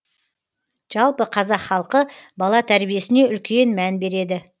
жалпы қазақ халқы бала тәрибесіне үлкен мән береді